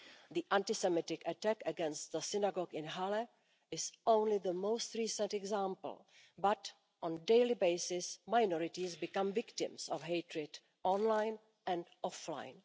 The anti Semitic attack against the synagogue in Halle is only the most recent example but, on a daily basis, minorities become victims of hatred online and offline.